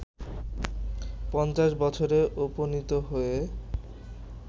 ৫০ বছরে উপনীত হয়ে